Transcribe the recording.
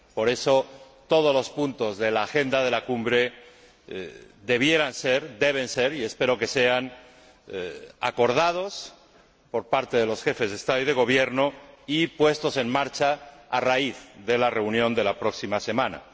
Por eso, todos los puntos de la agenda de la cumbre debieran ser, deben ser y espero que sean acordados por parte de los Jefes de Estado y de Gobierno y puestos en marcha a raíz de la reunión de la próxima semana.